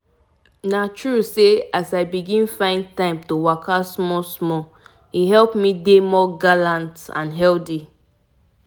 me and my friends just my friends just start one waka challenge like dat recently and e don dey sweet us.